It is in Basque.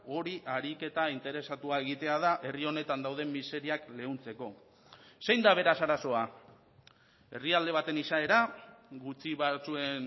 hori ariketa interesatua egitea da herri honetan dauden miseriak leuntzeko zein da beraz arazoa herrialde baten izaera gutxi batzuen